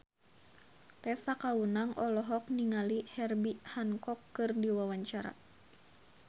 Tessa Kaunang olohok ningali Herbie Hancock keur diwawancara